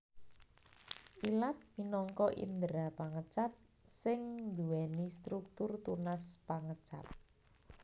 Ilat minangka indera pangecap sing nduwèni struktur tunas pangecap